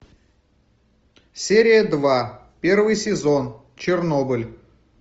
серия два первый сезон чернобыль